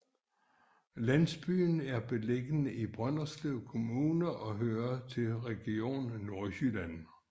Landsbyen er beliggende i Brønderslev Kommune og hører til Region Nordjylland